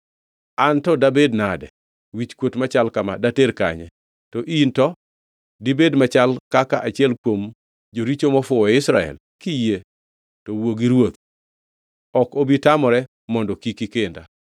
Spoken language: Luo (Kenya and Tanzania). An to dabed nade? Wichkuot machal kama dater kanye? To in to? Dibed machal kaka achiel kuom joricho mofuwo e Israel. Kiyie to wuo gi ruoth; ok obi tamore mondo kik ikenda.”